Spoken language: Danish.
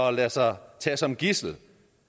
at lade sig tage som gidsel